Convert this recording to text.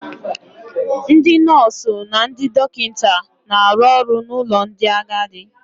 Ndị nọọsụ na ndị dọkịta na-arụ ọrụ n'ụlọ ndị agadi.